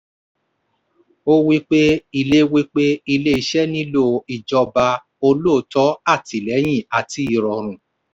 ó wí pé ilé wí pé ilé iṣẹ́ nílò ìjọba olóòótọ́ àtìlẹ́yìn àti ìrọ̀rùn.